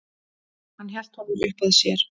Hann hélt honum uppað sér.